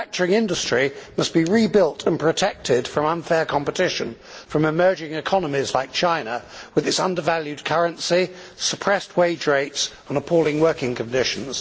Manufacturing industry must be rebuilt and protected from unfair competition from emerging economies like China with its undervalued currency, suppressed wage rates and appalling working conditions.